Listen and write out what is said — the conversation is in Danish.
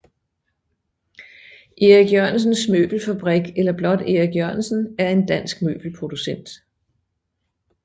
Erik Jørgensen Møbelfabrik eller blot Erik Jørgensen er en dansk møbelproducent